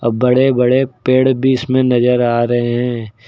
बड़े बड़े पेड़ भी इसमें नजर आ रहे हैं।